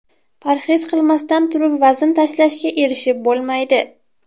Parhez qilmasdan turib vazn tashlashga erishib bo‘lmaydi.